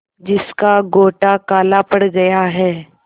जिसका गोटा काला पड़ गया है